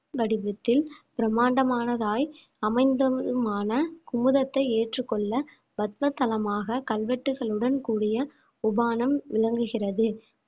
வடிவத்தில் பிரம்மாண்டமானதாய் அமைந்ததுமான குமுதத்தை ஏற்றுக்கொள்ள பத்ம தலமாக கல்வெட்டுகளுடன் கூடிய உபானம் விளங்குகிறது